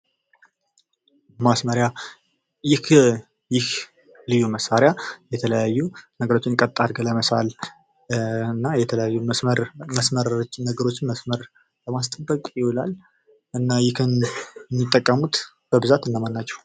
ማስመሪያ ይህ ልዩ መሳሪያ የተለያዩ ነገሮችን ቀጥ አድርጎ ለመሳል እና የተለያዩ ነገሮችን መስመር ለማስጠበቅ ይውላል። እና የጠቀሙት በብዛት እነማን ናቸው?